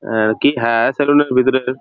আহ কি হ্যাঁঁ সেলুন -এর ভিতরের।